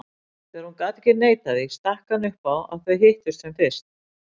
Þegar hún gat ekki neitað því stakk hann upp á að þau hittust sem fyrst.